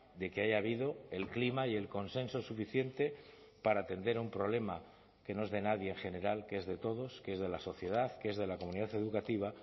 de que haya habido el clima y el consenso suficiente para atender a un problema que no es de nadie en general que es de todos que es de la sociedad que es de la comunidad educativa